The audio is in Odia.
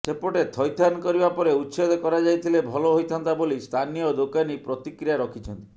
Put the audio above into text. ସେପଟେ ଥଇଥାନ କରିବା ପରେ ଉଚ୍ଛେଦ କରାଯାଇଥିଲେ ଭଲ ହୋଇଥାନ୍ତା ବୋଲି ସ୍ଥାନୀୟ ଦୋକାନୀ ପ୍ରତିକ୍ରିୟା ରଖିଛନ୍ତି